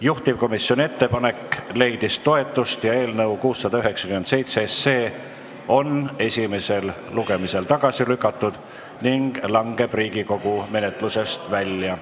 Juhtivkomisjoni ettepanek leidis toetust ja eelnõu 697 on esimesel lugemisel tagasi lükatud ning langeb Riigikogu menetlusest välja.